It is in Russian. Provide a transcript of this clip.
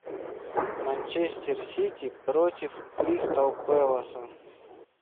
манчестер сити против кристал пэласа